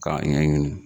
K'a ɲɛɲini